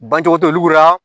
Bancɔgɔ tɛ olu ka